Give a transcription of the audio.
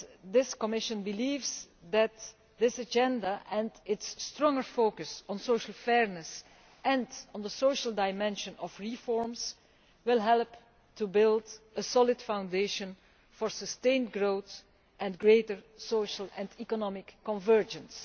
This Commission believes that this agenda and its strong focus on social fairness and on the social dimension of reforms will help to build a solid foundation for sustained growth and greater social and economic convergence.